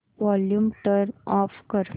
volume turn off कर